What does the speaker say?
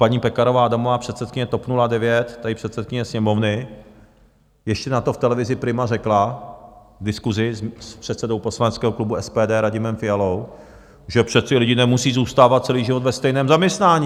Paní Pekarová Adamová, předsedkyně TOP 09, tady předsedkyně Sněmovny, ještě na to v televizi Prima řekla v diskusi s předsedou poslaneckého klubu SPD Radimem Fialou, že přece lidé nemusí zůstávat celý život ve stejném zaměstnání.